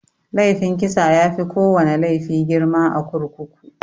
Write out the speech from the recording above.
Laifin kisa yafi kowana laifi girma a kurkuku.